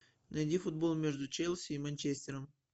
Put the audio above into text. найди футбол между челси и манчестером